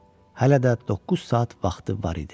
Hələ də 9 saat vaxtı var idi.